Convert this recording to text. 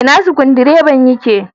Ina Sukudireban ya ke?